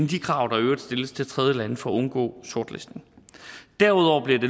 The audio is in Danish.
de krav der i øvrigt stilles til tredjelande for at undgå sortlisten derudover bliver